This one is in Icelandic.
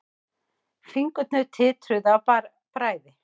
Fingurnir titruðu af bræði.